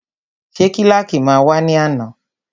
Ṣé kílàkì náà wá ní àná?